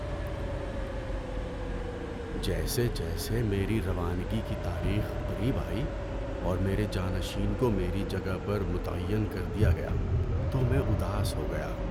جیسے جیسے میری روانگی کی تاریخ قریب آئی اور میرے جانشین کو میری جگہ پر متعین کر دیا گیا تو میں اداس ہو گیا۔